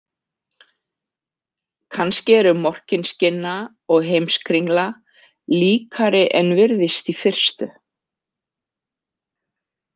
Kannski eru Morkinskinna og Heimskringla líkari en virðist í fyrstu.